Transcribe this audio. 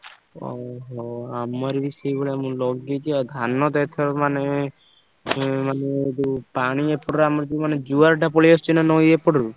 ଓହୋ! ଆମର ବି ସେଇଭଳିଆ ମୁଁ ଲଗେଇଛି ଆଉ ଧାନ ତ ଏଥରକ ମାନେ ଉଁ ମାନେ ଯୋଉ ପାଣି ଏପଟରେ ଆମର ଯୋଉ ମାନେ ଜୁଆରଟା ପଳେଇଆସୁଛି ନା ନଈ ଏପଟରୁ।